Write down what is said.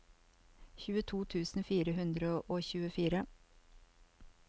tjueto tusen fire hundre og tjuefire